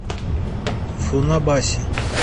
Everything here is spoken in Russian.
фунабаси